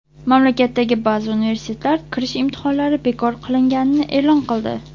Mamlakatdagi ba’zi universitetlar kirish imtihonlari bekor qilinganini e’lon qildi.